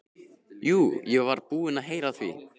Jú, ég var búinn að heyra af því.